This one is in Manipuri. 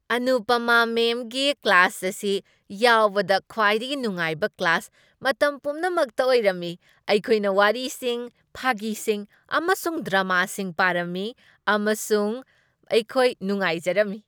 ꯑꯅꯨꯄꯃꯥ ꯃꯦꯝꯒꯤ ꯀ꯭ꯂꯥꯁ ꯑꯁꯤ ꯌꯥꯎꯕꯗ ꯈ꯭ꯋꯥꯏꯗꯒꯤ ꯅꯨꯡꯉꯥꯏꯕ ꯀ꯭ꯂꯥꯁ ꯃꯇꯝ ꯄꯨꯝꯅꯃꯛꯇ ꯑꯣꯏꯔꯝꯃꯤ꯫ ꯑꯩꯈꯣꯏꯅ ꯋꯥꯔꯤꯁꯤꯡ, ꯐꯥꯒꯤꯁꯤꯡ, ꯑꯃꯁꯨꯡ ꯗ꯭ꯔꯃꯥꯁꯤꯡ ꯄꯥꯔꯝꯃꯤ ꯑꯃꯁꯨꯡ ꯑꯩꯈꯣꯏ ꯅꯨꯡꯉꯥꯏꯖꯔꯝꯃꯤ꯫